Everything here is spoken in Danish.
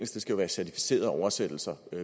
skal være certificerede oversættelser